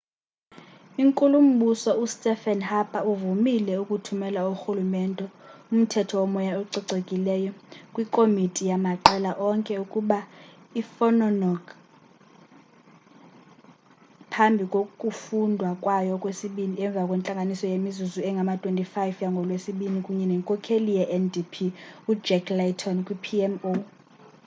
inkulumbuso ustephen harper uvumile ukuthumela urhulumente umthetho womoya ococekileyo' kwikomiti yamaqela onke ukuba iphonononge phambi kokufundwa kwayo okwesibini emva kwentlanganiso yemizuzu engama-25 yangolwesibini kunye nenkokheli ye-ndp ujack layton kwi-pmo